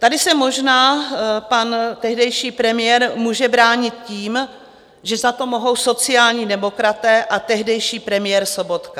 Tady se možná pan tehdejší premiér může bránit tím, že za to mohou sociální demokraté a tehdejší premiér Sobotka.